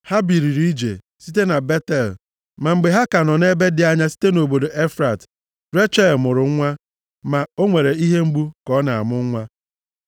Ha biliri ije, site na Betel. Ma mgbe ha ka nọ ebe dị anya site nʼobodo Efrat, Rechel mụrụ nwa, ma o nwere ihe mgbu ka ọ na-amụ nwa.